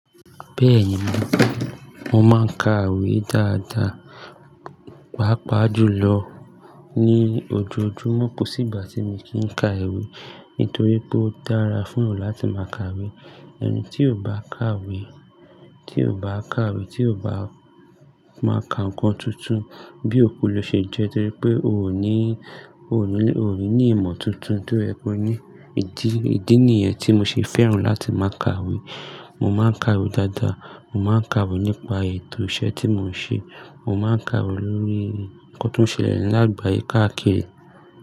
Bẹ́ẹ̀ni, mo máa ń ka ìwé dáadáa, pàápàá jùlọ ní ojoojúmọ́. Kò sí ìgbà tí mi kì í ka ìwé nítorí pé ó dára fún eyan láti máa ka ìwé. Ẹni tí ò bá ka ìwé, tí ò bá ka ìwé, tí ò bá máa ka nǹkan tuntun bí òkú lọ ṣe jẹ́ torí pé òo ní, ò ní, oò ní ni ìmọ̀ tuntun tó ye ki o ní. Idì, ìdí nìyẹn tí mo ṣe fẹ́ràn láti máa ka ìwé. Mo máa ń ka ìwé dáadáa. Mo máa ń ka ìwé nípa ètò iṣẹ́ tí mò ń ṣe. Mo máa ń ka ìwé lórí nnkan tó ń ṣẹlẹ̀ ní àgbáyé káàkiri.